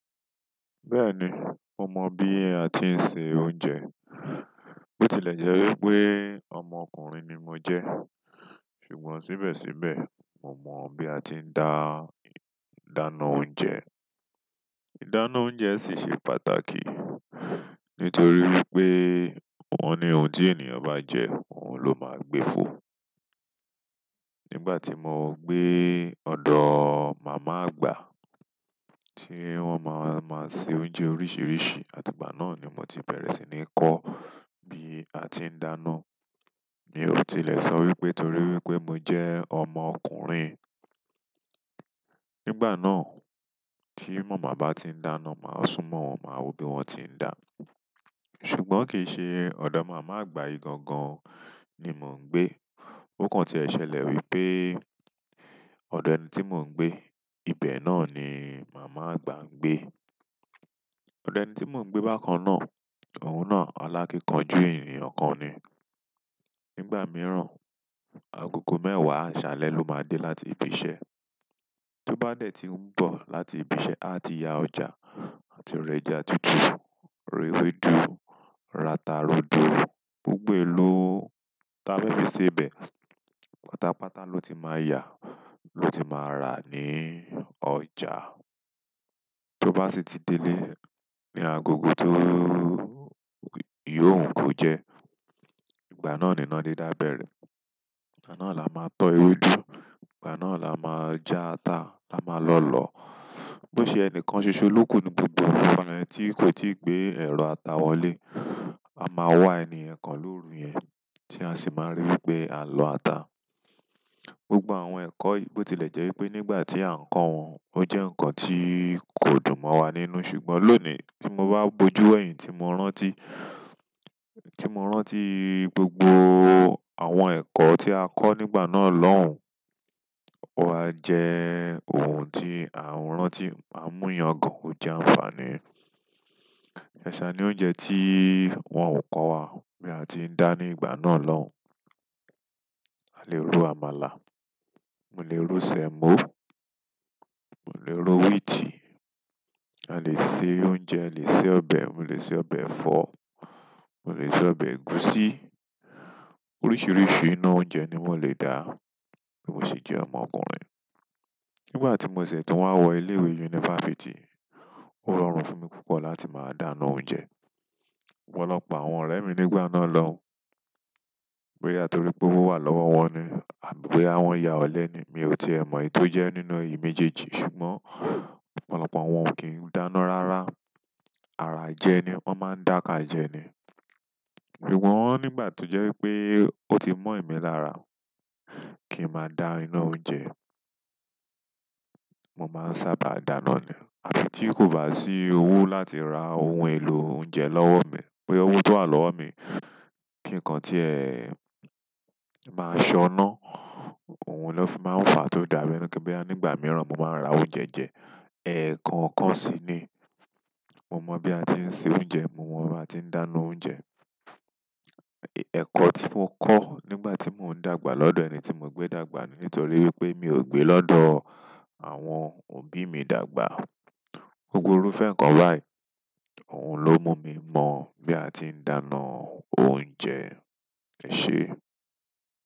Bẹ́ẹ̀ni, mo mọ bí a ti ń se oúnjẹ. Bó tilẹ̀ jẹ́ wípé ọmọ ọkùnrin ni mo jẹ́, ṣùgbọ́n síbẹ̀síbẹ̀ mo mọ bí a ti ń dá dáná oúnjẹ. Ìdáná oúnjẹ sì ṣe pàtàkì nítorí wípé òhun ni ohun tí ènìyàn bá jẹ, òhun ló máa gbé fo. Nígbà tí mo gbé ọ̀dọ̀ màmá àgbà tí wón máa máa se oúnjẹ oríṣìíríṣìí, àti ìgbà náà ni mo ti bẹ̀rẹ̀ sí ní kọ́ bí a ti ń dáná. Mi ò tilẹ̀ sọ wípé torí wípé mo jẹ́ ọmọ ọkùnrin. Nígbà náà tí màmá bá ti ń dáná, màá súnmọ́ wọn, màá wo bí wón ti ń dá. Ṣùgbọ́n kì í ṣe ọ̀dọ̀ màmá àgbà yìí gangan ni mò ń gbé. Ó kàn tí ẹ ṣẹlẹ̀ wípé ọ̀dọ̀ ẹni tí mò ń gbé, ibẹ̀ náà ni màmá àgbà ń gbé. Ọ̀dọ̀ ẹni tí mò ń gbé bákan náà, òun náà alákínkanjú ènìyàn kan ni. Nígbà mìíràn, agogo mẹ́wàá, àṣálẹ́ ló máa dé láti ibi iṣẹ́. To ba de ti n mbo láti ibise, àti ya ọjà láti ra ẹja tutu, ra ewédú, ra ata, rodo. Gbogbo eló ta féfì se bẹ̀. Pátápátá ló ti máa yà ló ti máa rà ní ọjà. Tó bá sì ti délé, ni agogo tó yò ó ń ko jẹ. Ìgbà náà ni iná dídá bẹ̀rẹ̀. Ìgbà náà la máa tọ ewédú, ìgbà náà la máa já ata, la máa lọ lọ. Bó ṣe ẹni kan ṣoṣo ló kú ní gbogbo ìfárọ̀ ẹni tí kò tí ì gbé ẹ̀ro ata wọlé, a máa wá ènìyàn kan lóru yẹ̀n tí a sì máa rí wípé a lọ ata. Gbogbo àwọn ẹ̀kọ́, bó tilẹ̀ jẹ́ wípé nígbà tí à ń kọ́ wọn ó jẹ́ nǹkan tí kò dùn mọ́ wa nínú, ṣùgbọ́n lónìí tí mo bá bojú ẹ̀yìn tí mo rántí, tí mo rántí gbogbo àwọn ẹ̀kọ́ tí a kọ́ nígbà náà lọ́hùn, ó wáa jẹ́ ohun tí à ń rántí, an mú yàn gan-an, ó jẹ́ àǹfààní. Saṣà ni oúnjẹ tí wọ́n ò kọ́ wa bí a ti ń dá ní ìgbà náà lọ́hùn. Mo lè ro àmàlà, mo lè ro sẹ̀mọ́, mo lè ro wíìtì, a lè se oúnjẹ, a lè se ọbẹ̀, mo lè se ọbẹ̀ ẹ̀fọ́, mo lè se ọbẹ̀ ẹ̀gúsí. Oríṣìíríṣìí ina oúnjẹ ni mò lè dá bí mo sejẹ́ ọmọ ọkùnrin. Nígbà tí mò ṣẹ̀ tún wá wọ ilé ìwé yunifásítì, ó rọrùn fún mi púpọ̀ láti máa dáná oúnjẹ. Ọ̀pọ̀lọpọ̀ àwọn ọ̀rẹ́ mi nígbà náà loun ni torí pé ọwọ wà lọ́wọ́ wọn ni àbí boya wọn ya ọ̀lẹ ni. Mi ò ti è mọ̀ èyí tó jẹ́ nínú èyí mejejì, ṣùgbọ́n ọ̀pọ̀lọpọ̀ wọn ò kí ń dáná rárá. Ara jẹ ni wón máa ń dà ká jẹ ni. Ṣùgbọ́n nígbà to je wípé o ti mo emi lára kin ma da ina oúnjẹ, mo ma nsaba dáná ni àfi tí kò bá sí owó láti ra ohun èlò oúnjẹ lọ́wọ́ mi boya owó tó wà lọ́wọ́ mi kí nǹkan tí ẹ máa ṣọná, òhun lọ́ fi máa ń fà á tó dàbí ẹni kí n bí á nígbà mìíràn mo máa ń ra oúnjẹ jẹ. Ẹ̀ẹ̀ko ọ̀kan sí ni. Mo mọ bí a ti ń se oúnjẹ, mo mọ bí a ti ń dáná oúnjẹ. Ẹ̀ẹ̀kọ́ tí mo kọ́ nígbà tí mò ń dàgbà lọ́dọ̀ ẹni tí mò ń gbé dàgbà ni nítorí wípé mi ò gbé lọ́dọ̀ àwọn òbí mi dàgbà. Gúgúrú fẹ́ńkọ́ báì òhun ló mú mi mọ́ bí a ti ń dáná oúnjẹ. Ẹ ṣé.